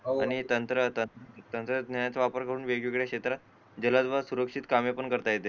आणि तंत्र तंत्रज्ञान तंत्रज्ञानाचा वापर करून वेगवेगळ्या क्षेत्रात जलद बाज सुरक्षित कामे पण करता येतात